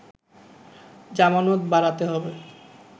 জামানত বাড়াতে হবে